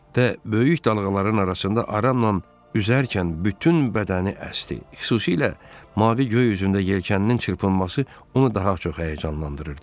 Və böyük dalğaların arasında aramla üzərkən bütün bədəni əsdi, xüsusilə mavi göy üzündə yelkəninin çırpınması onu daha çox həyəcanlandırırdı.